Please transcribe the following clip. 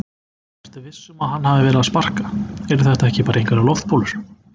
Ertu viss um að hann hafi verið að sparka. eru þetta ekki bara einhverjar loftbólur?